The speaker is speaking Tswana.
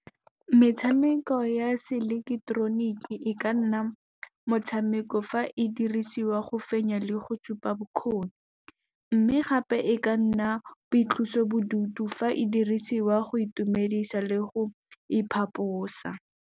Metshameko ya se ileketeroniki e ka nna motshameko fa e dirisiwa go fenya le go supa bokgoni. Mme gape e ka nna boitlosobodutu fa e dirisiwa go itumedisa le go iphaposa.